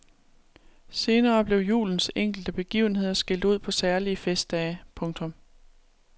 Senere blev julens enkelte begivenheder skilt ud på særlige festdage. punktum